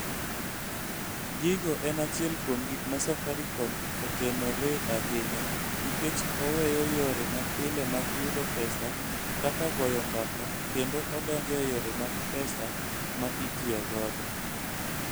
Gigo en achiel kuom gik ma Safaricom otenoree ahinya, nikech oweyo yore mapile mag yudo pesa kaka goyo mbaka kendo odonjo e yore mag pesa ma itiyo godo.